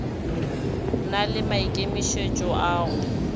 na le maikemišetšo a go